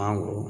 Awɔ